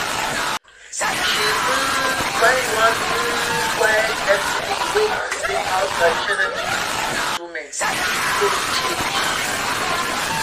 she um find one um quiet exhibit wey explain how traditional music instrument take change.